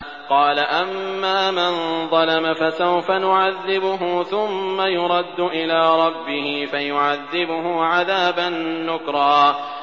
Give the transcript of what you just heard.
قَالَ أَمَّا مَن ظَلَمَ فَسَوْفَ نُعَذِّبُهُ ثُمَّ يُرَدُّ إِلَىٰ رَبِّهِ فَيُعَذِّبُهُ عَذَابًا نُّكْرًا